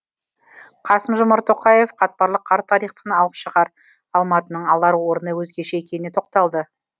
қасым жомарт тоқаев қатпарлы қарт тарихтан алып шаһар алматының алар орны өзгеше екеніне тоқталды